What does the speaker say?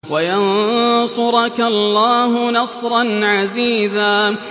وَيَنصُرَكَ اللَّهُ نَصْرًا عَزِيزًا